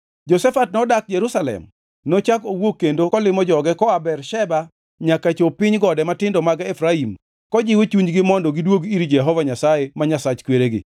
Jehoshafat nodak Jerusalem, nochako owuok kendo kolimo joge koa Bersheba nyaka chop piny gode matindo mag Efraim kendo kojiwo chunygi mondo gidwog ir Jehova Nyasaye ma Nyasach kweregi.